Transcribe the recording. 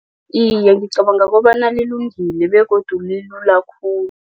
Iye, ngicabanga kobona lilungile begodu lilula khulu.